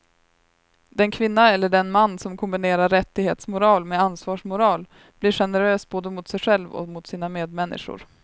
Den kvinna eller den man som kombinerar rättighetsmoral med ansvarsmoral blir generös både mot sig själv och mot sina medmänniskor.